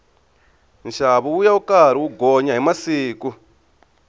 nxavo wuya wu karhi wu gonya hi siku